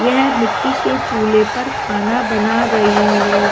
यह मिट्टी के चूल्हे पर खाना बना रही है।